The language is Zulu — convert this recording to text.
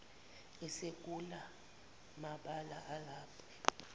esekula mabala alapha